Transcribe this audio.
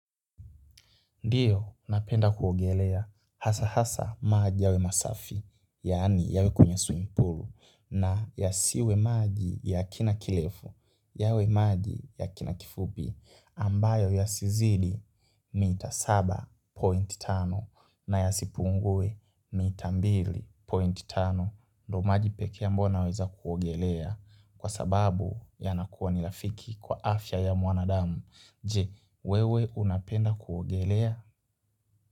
Ndio, napenda kuogelea, hasa hasa maji yawe masafi, yaani yawe kunywe swimming pool, na yasiwe maji ya kina kirefu, yawe maji ya kina kifupi, ambayo yasizidi mita saba point tano, na yasipungue mita mbili point tano. Ndo maji pekee ambao naweza kuogelea. Kwa sababu ya nakuwa ni rafiki kwa afya ya mwanadamu. Je, wewe unapenda kuogelea?